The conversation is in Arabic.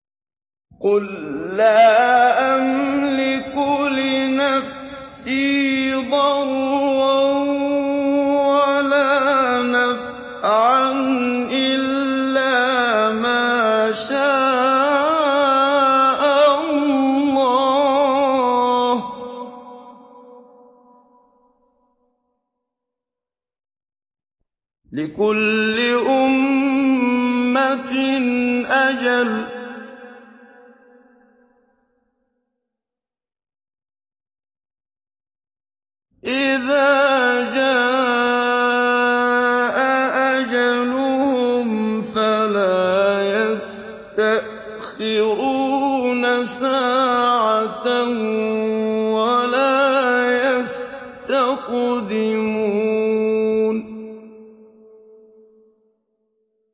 قُل لَّا أَمْلِكُ لِنَفْسِي ضَرًّا وَلَا نَفْعًا إِلَّا مَا شَاءَ اللَّهُ ۗ لِكُلِّ أُمَّةٍ أَجَلٌ ۚ إِذَا جَاءَ أَجَلُهُمْ فَلَا يَسْتَأْخِرُونَ سَاعَةً ۖ وَلَا يَسْتَقْدِمُونَ